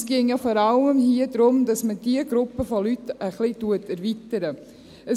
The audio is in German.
Hier ginge es ja vor allem darum, dass man diese Gruppe von Leuten ein wenig erweitern würde.